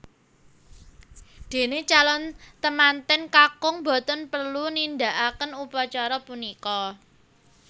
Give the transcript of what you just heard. Dene calon temanten kakung boten perlu nindakaken upacara punika